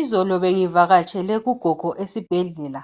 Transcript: Izolo bengivakatshele ugogo esibhedlela,